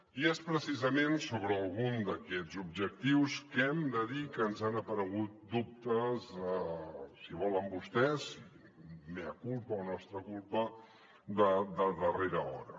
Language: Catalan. i és precisament sobre algun d’aquests objectius que hem de dir que ens han aparegut dubtes si volen vostès mea culpa o nostra culpa de darrera hora